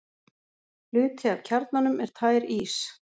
Hluti af kjarnanum er tær ís.